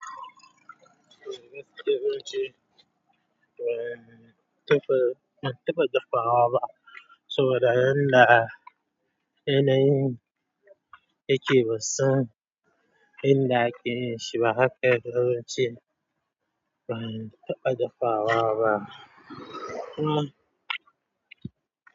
Ban taba dafawa ba saboda yanda yanayin yake bansan yanda ake dafashiba.